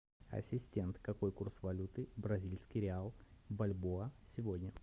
ассистент какой курс валюты бразильский реал бальбоа сегодня